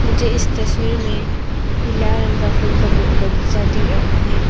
मुझे इस तस्वीर में पीला रंग का फूल का ब बगीचा दिख रहा है।